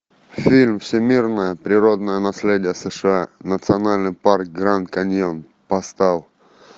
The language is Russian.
фильм всемирное природное наследие сша национальный парк гранд каньон поставь